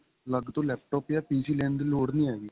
ਅੱਲਗ ਤੋਂ laptop ਜਾਂ PC ਲੈਣ ਦੀ ਲੋੜ ਨਹੀਂ ਹੈਗੀ